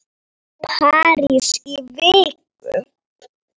París í viku?